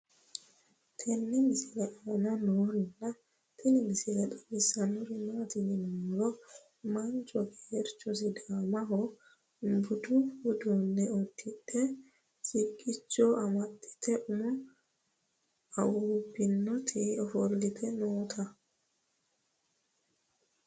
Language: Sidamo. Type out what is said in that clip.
tenne misile aana noorina tini misile xawissannori maati yinummoro mancho geerichcho sidaamunniha buddu uudunne udidhdhe siqqichcho amaxxitte umo awuubbinnotti offolitte nootta